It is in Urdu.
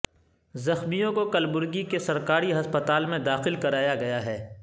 زخمیوں کو کلبرگی کے سرکاری ہسپتال میں داخل کرایا گیا ہے